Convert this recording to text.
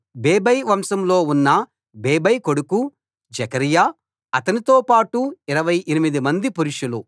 బేబై వంశంలో ఉన్న బేబై కొడుకు జెకర్యా అతనితో పాటు 28 మంది పురుషులు